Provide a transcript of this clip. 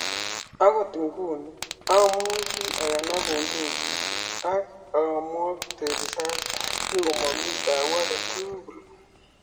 Ogot nguni amuch aganab bundugit ak omwokte risasinik komomi taabut agetul